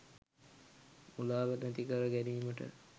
මුලාව නැති කර ගැනීමට